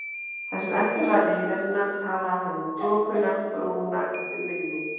Það sem eftir var leiðarinnar, talaði hann um þokuna, brúna yfir mynni